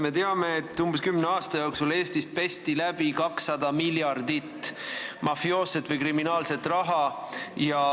Me teame, et umbes kümne aasta jooksul pesti Eestis 200 miljardit mafioosset või kriminaalset raha.